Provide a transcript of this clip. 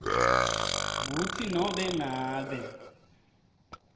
kutsi nobe ngabe